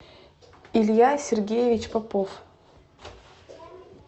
илья сергеевич попов